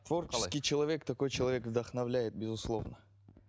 творческий человек такой человек вдохновляет безусловно